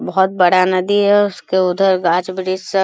बहुत बड़ा नदी है उसको उधर गाछ-वृछ सब --